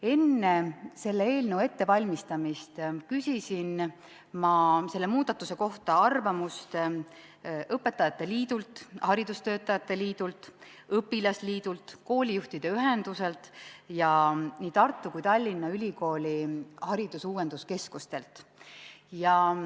Enne selle eelnõu ettevalmistamist küsisin ma selle muudatuse kohta arvamust õpetajate liidult, haridustöötajate liidult, õpilasliidult, koolijuhtide ühenduselt ja nii Tartu kui ka Tallinna Ülikooli haridusuuenduskeskuselt.